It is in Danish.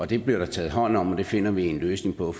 det bliver der taget hånd om og det finder vi en løsning på